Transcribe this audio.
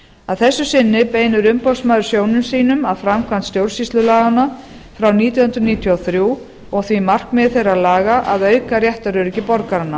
að þessu sinni beinir umboðsmaður sjónum sínum að framkvæmd stjórnsýslulaganna ár nítján hundruð níutíu og þrjú og því markmiði þeirra laga að auka réttaröryggi borgaranna